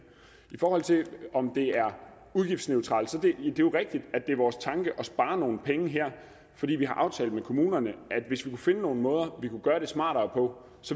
i forhold til om det er udgiftsneutralt er jo rigtigt at det er vores tanke at spare nogle penge her fordi vi har aftalt med kommunerne at hvis vi kunne finde nogle måder vi kunne gøre det smartere på